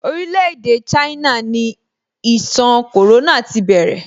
Orile-ede China ni ìṣàn corona ti bẹ̀rẹ̀.